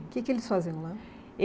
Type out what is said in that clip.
O que que eles faziam lá?